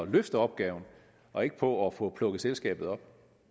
løfte opgaven og ikke på at få plukket selskabet op